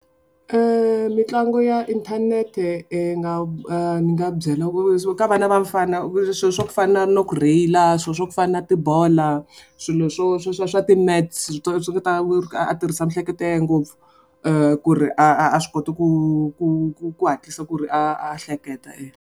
Mitlangu ya inthanete nga a ni nga byela ku swo ka vana va mufana swilo swa ku fana na ku rheyila, swilo swa ku fana na tibola, swilo swo sweswiya swa ti-maths, swi nga ta ku a tirhisa mihleketo ya ye ngopfu ku ri a a a swi koti ku ku ku ku hatlisa ku ri a a hleketa .